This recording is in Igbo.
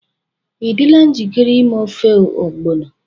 Ị dịla njikere ime ofe ogbono?